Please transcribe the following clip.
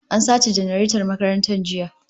An sace janareton makaranta jiya